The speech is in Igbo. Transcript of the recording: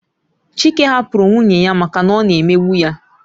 Chike hapụrụ nwunye ya maka na ọ na-emegbu ya